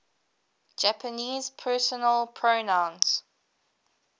japanese personal pronouns